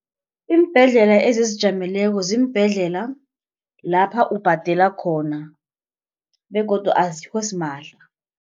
Iimbhedlela ezizijameleko ziimbhedlela lapha ubhadela khona begodu azikho simahla.